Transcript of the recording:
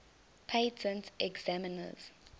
patent examiners